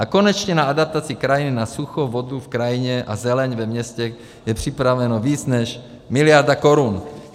A konečně na adaptaci krajiny na sucho, vodu v krajině a zeleň ve městech je připraveno víc než miliarda korun.